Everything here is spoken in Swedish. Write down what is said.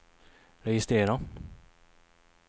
registrera